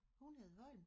Hun hed Holm